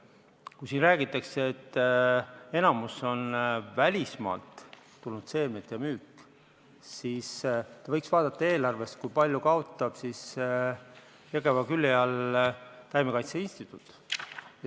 Kui siin räägitakse, et enamik on välismaalt tulnud seemnete müük, siis te võiks vaadata eelarvest, kui palju kaotab Jõgeva külje all olev taimekaitseinstituut.